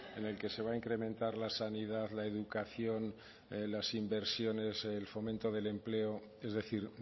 en el que se va a incrementar la sanidad la educación las inversiones el fomento del empleo es decir